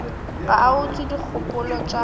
ga a utswe dikgopolo tša